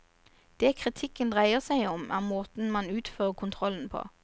Det kritikken dreier seg om, er måten man utfører kontrollen på.